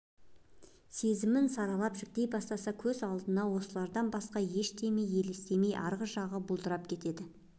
сезімін саралап жіліктей бастаса көз алдына осылардан басқа ештеңе елестемей арғы жағы бұлдырап кетеді